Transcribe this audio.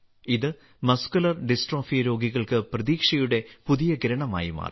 ഇത് muscular dystrophy രോഗികൾക്ക് പ്രതീക്ഷയുടെ പുതിയ കിരണമായി മാറി